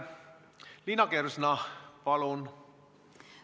Liina Kersna, palun!